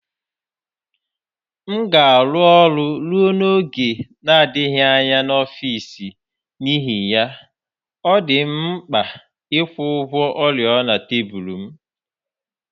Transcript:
M ga-arụ ọrụ ruo n'oge na-adịghị anya n'ọfịs n'ihi ya, ọ dị m mkpa ịkwụ ụgwọ oriọna tebụl m